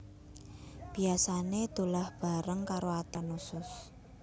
Biasané dolah bebarengan karo ati lan usus